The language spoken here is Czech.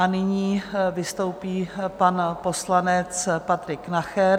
A nyní vystoupí pan poslanec Patrik Nacher.